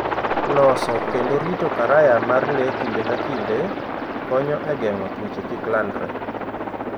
Loso kendo rito karaya mar le kinde ka kinde, konyo e geng'o tuoche kik landre.